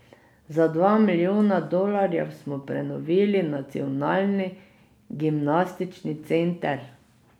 Za dva milijona dolarjev smo prenovili nacionalni gimnastični center.